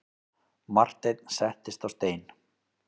Marteinn settist á stein.